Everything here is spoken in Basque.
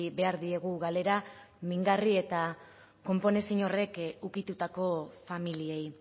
behar diegu galera mingarri eta konponezin horrek ukitutako familiei